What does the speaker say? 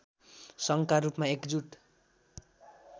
सङ्घका रूपमा एकजुट